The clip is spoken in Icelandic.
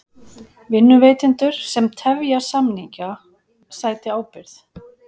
Vinnuveitendur sem tefja samninga sæti ábyrgð